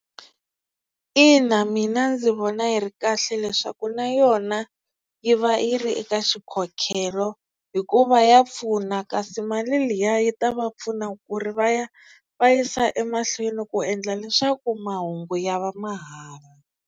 Ina mina ndzi vona yi ri kahle leswaku na yona yi va yi ri eka xikhokhelo hikuva ya pfuna kasi mali liya yi ta va pfuna ku ri va ya va yisa emahlweni ku endla leswaku mahungu ya va mahala.